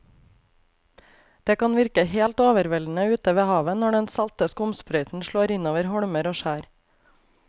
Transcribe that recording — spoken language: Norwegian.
Det kan virke helt overveldende ute ved havet når den salte skumsprøyten slår innover holmer og skjær.